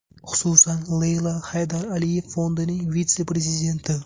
Xususan, Leyla Haydar Aliyev fondining vitse-prezidenti.